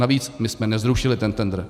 Navíc, my jsme nezrušili ten tendr.